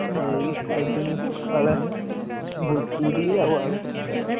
ଏଇ ଖାଇଥିଲି ସଖାଲେ, ପୁରୀ ଆଉ ଆଳୁକଷା।